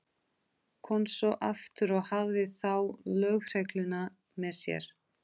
Kom svo aftur og hafði þá lögregluna með sér.